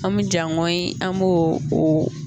An mi jaŋɔyi an mo o